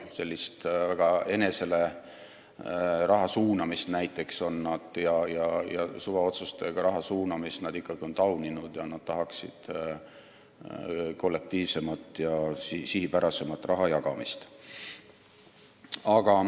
Näiteks enesele suvaotsustega raha suunamist on nad ikkagi tauninud, nad tahaksid kollektiivsemat ja sihipärasemat raha jagamist.